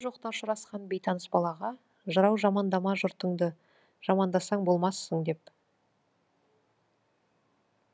ойда жоқта ұшырасқан бейтаныс балаға жырау жамандама жұртыңды жамандасаң болмассың деп